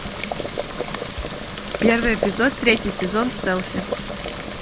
первый эпизод третий сезон селфи